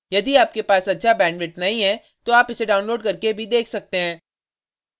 यदि आपके पास अच्छा bandwidth नहीं है तो आप इसे download करके देख सकते हैं